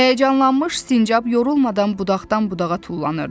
Həyəcanlanmış sincab yorulmadan budaqdan budağa tullanırdı.